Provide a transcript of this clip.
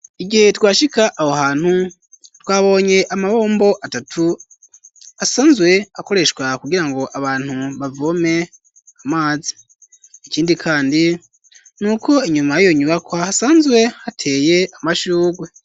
Igihe twashika aho hantu twabonye amabombo atatu asanzwe akoreshwa kugirango abantu bavome amazi ikindi kandi nuko inyuma yiyo nyubakwa hasanzwe hateye amashurwe.